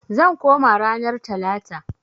Zan koma ranar talata.